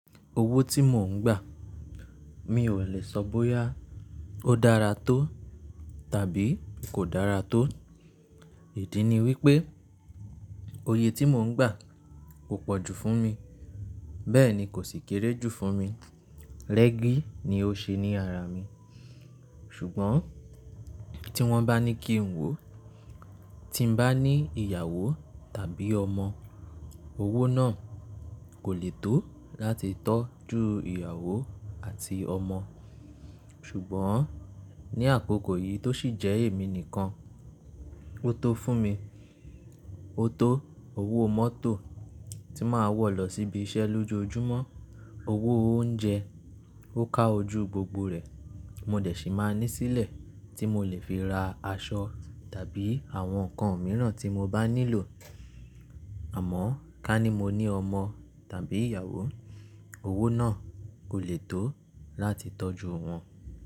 Owó tí mò ń gbà, mi ò lè sọ bóyá ó dára tó tàbí kò dára tó. Ìdí ni wípé òye tí mò ń gbà kò pọ̀jù fún mi, bẹ́ẹ̀ ni kò sì kéré jù fún mi. Rẹ́gí ni ó ṣe ní ara mi. Ṣùgbọ́n tí wọ́n bá ní kí n wó, tí n bá ní ìyàwó tàbí ọmọ, owó náà kò lè tó láti tọ́jú ìyàwó àti ọmọ. Ṣùgbọ́n ní àkókò yìí tó sì jẹ́ èmi nìkan, ó tó fún mi. Ó tó owó mọ́tò tí màá wọ̀ lọ síbi iṣẹ́ lójoojúmọ́, owó oúnjẹ ó ká ojú gbogbo rẹ̀. Mo dẹ̀ sì máa ní sílẹ̀ tí mo lè fi ra aṣọ tàbí àwọn nǹkan mìíràn tí mo bá nílò. Àmọ́ ká ní mo ní ọmọ tàbí ìyàwó, owó náà kò lè tó láti tọ́jú wọn.